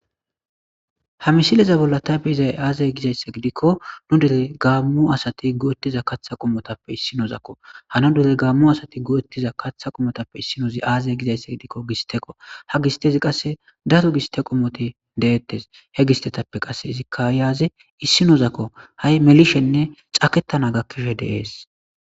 Ha misileza bolla tabi izay aazay gizaysse gidikko nu dere gaammu asati go7ottiza katha qomotappe issinozakko hano dere gaammu asati go7ottiza kaththa qomotappe issinoozi aazay gizaysse gidikko gisteko ha gistezi qasse datu giste qomote deettes he gistetappe qasse izikka yaaze issinozakko ha7i melishenne cakettana gakkishe deees,